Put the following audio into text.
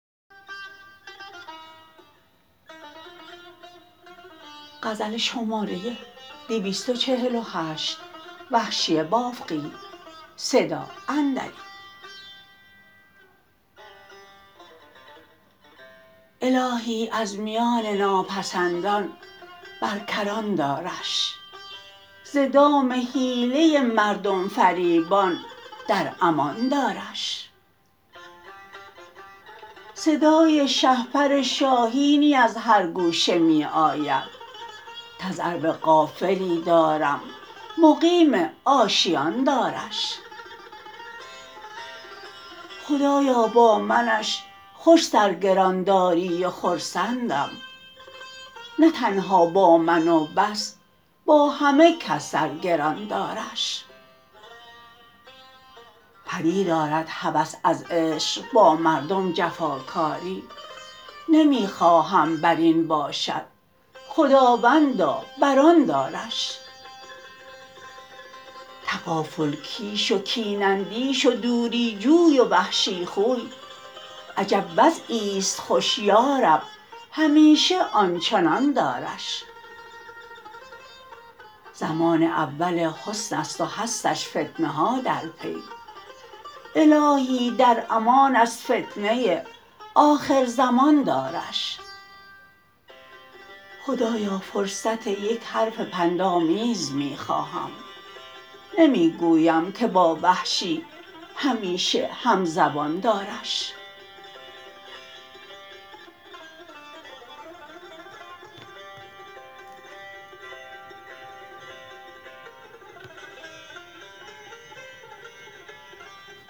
الاهی از میان ناپسندان بر کران دارش ز دام حیله مردم فریبان در امان دارش صدای شهپر شاهینی از هر گوشه می آید تذرو غافلی دارم مقیم آشیان دارش خدایا با منش خوش سر گران داری و خرسندم نه تنها با من و بس با همه کس سرگران دارش پدید آرد هوس از عشق با مردم جفا کاری نمی خواهم بر این باشد خداوندا برآن دارش تغافل کیش و کین اندیش و دوری جوی و وحشی خوی عجب وضعیست خوش یارب همیشه آنچنان دارش زمان اول حسن است و هستش فتنه ها درپی الاهی در امان از فتنه آخر زمان دارش خدایا فرصت یک حرف پند آمیز می خواهم نمی گویم که با وحشی همیشه همزبان دارش